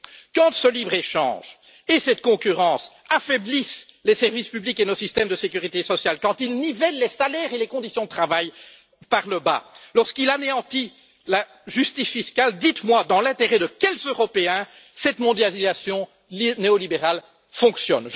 Quand ce libre échange et cette concurrence affaiblissent les services publics et nos systèmes de sécurité sociale, quand ils nivellent les salaires et les conditions de travail par le bas, lorsqu'ils anéantissent la justice fiscale, dites moi dans l'intérêt de quels Européens cette mondialisation néolibérale fonctionne.